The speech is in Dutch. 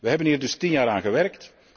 We hebben hier dus tien jaar aan gewerkt.